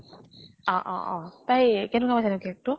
অ অ অ তাই কেনেকুৱা পাইছে তাই cake টো?